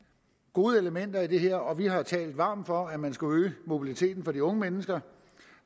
gode elementer i det her og vi har talt varmt for at man skulle øge mobiliteten for de unge mennesker